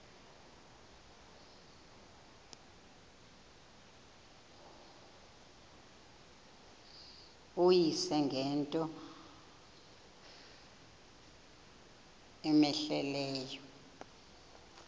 uyise ngento cmehleleyo